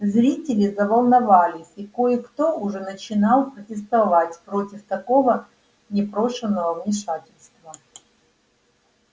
зрители заволновались и кое кто уже начинал протестовать против такого непрошеного вмешательства